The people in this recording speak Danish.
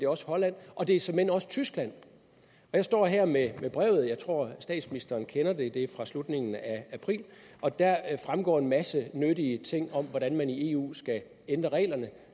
også holland og det er såmænd også tyskland jeg står her med brevet jeg tror at statsministeren kender det det er fra slutningen af april og deraf fremgår en masse nyttige ting om hvordan man i eu skal ændre reglerne